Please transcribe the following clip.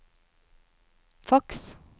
faks